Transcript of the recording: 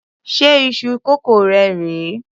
Ṣé iṣu kókò rè é?